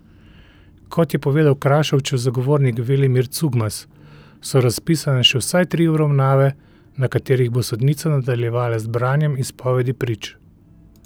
Kot je povedal Krašovčev zagovornik Velimir Cugmas, so razpisane še vsaj tri obravnave, na katerih bo sodnica nadaljevala z branjem izpovedi prič.